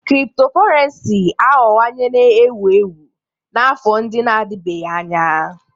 Cryptocurrency aghọwowanye ewu ewu n'afọ ndị na-adịbeghị anya.